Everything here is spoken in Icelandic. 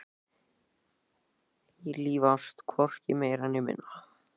Eilíf ást, hvorki meira né minna.